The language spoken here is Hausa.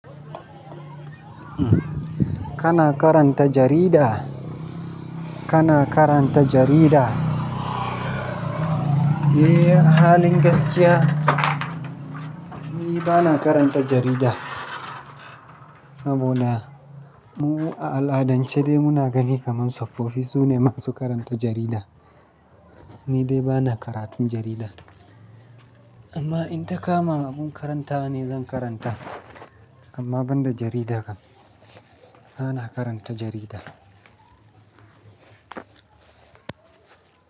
Kana karanta jarida? Kana karanta jarida? Eh, halin gaskiya ni bana karanta jarida. Saboda mu a al'adance dai muna gani kaman tsofaffi su ne masu karanta jarida. Ni dai bana karatun jarida. Amma in ta kama muna karantawa ni zan karanta. Amma ban da jarida kam. Bana karanta jarida.